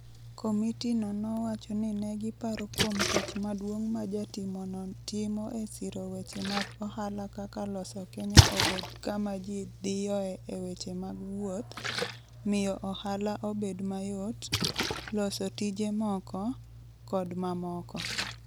Komitino nowacho ni ne giparo kuom tich maduong' ma jatimono timo e siro weche mag ohala kaka "loso Kenya obed kama ji dhiyoe e weche mag wuoth, miyo ohala obed mayot, loso tije moko, kod mamoko".